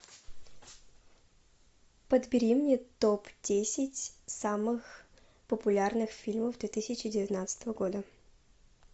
подбери мне топ десять самых популярных фильмов две тысячи девятнадцатого года